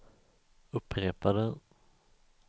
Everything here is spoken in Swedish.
upprepade